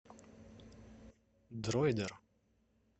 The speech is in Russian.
дроидер